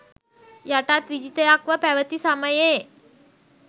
යටත් විජිතයක්ව පැවති සමයේ